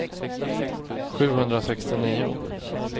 sjuhundrasextionio